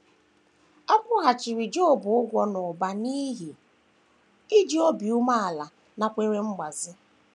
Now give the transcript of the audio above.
A kwụghachiri Job ụgwọ n’ụba n’ihi iji obi umeala nakwere mgbazi